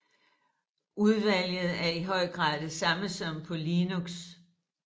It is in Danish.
Udvalget er i høj grad det samme som på Linux